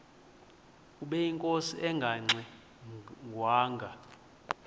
ubeyinkosi engangxe ngwanga